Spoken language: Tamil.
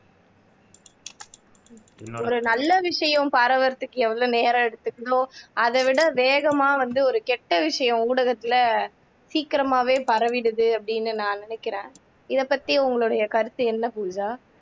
ஒரு நல்ல விஷயம் பரவறதுக்கு எவ்வளவு நேரம் எடுத்துக்குதோ அதை விட வேகமா வந்து ஒரு கெட்ட விஷயம் ஊடகத்துல சீக்கிரமாவே பரவிடுது அப்படின்னு நான் நினைக்கிறேன் இதைப்பத்தி உங்களுடைய கருத்து என்ன பூஜா